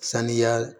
Saniya